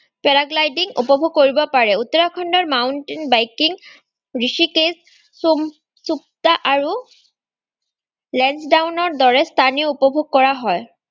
para-gliding উপভোগ কৰিব পাৰে। উত্তৰাখণ্ডৰ mountain biking ৰিষিকেশ, সোম-সুপ্তা আৰু ৰদৰে স্থানো উপভোগ কৰা হয়।